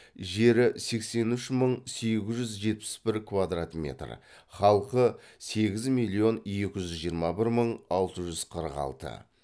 жері сексен үш мың сегіз жүз жетпіс бір квадрат метр халқы сегіз миллион екі жүз мың жиырма бір алты жүз қырық алты